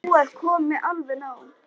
Nú er komið alveg nóg!